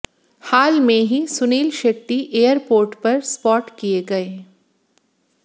हाल में ही सुनील शेट्टी एयरपोर्ट पर स्पॉट किए गए